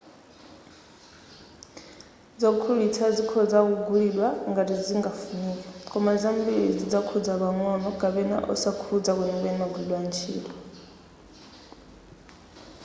zogulitsa zikhoza kugulidwa ngati zingafunike koma zambiri zidzakhudza pang'ono kapena osakhudza kwenikweni magwiridwe a ntchito